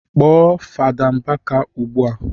Kpọọ Fasa Mbaka ugbua!